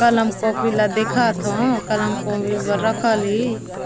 कलम कॉपी ला देखत हव कलम कॉपी बर राखल ली